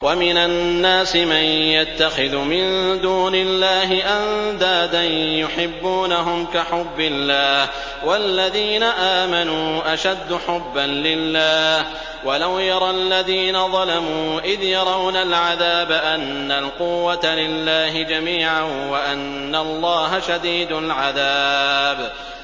وَمِنَ النَّاسِ مَن يَتَّخِذُ مِن دُونِ اللَّهِ أَندَادًا يُحِبُّونَهُمْ كَحُبِّ اللَّهِ ۖ وَالَّذِينَ آمَنُوا أَشَدُّ حُبًّا لِّلَّهِ ۗ وَلَوْ يَرَى الَّذِينَ ظَلَمُوا إِذْ يَرَوْنَ الْعَذَابَ أَنَّ الْقُوَّةَ لِلَّهِ جَمِيعًا وَأَنَّ اللَّهَ شَدِيدُ الْعَذَابِ